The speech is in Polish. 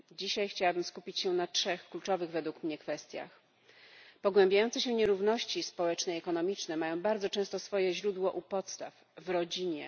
Dzisiaj chciałabym skupić się na trzech kluczowych według mnie kwestiach. Pogłębiające się nierówności społeczne i ekonomiczne mają bardzo często swoje źródło u podstaw w rodzinie.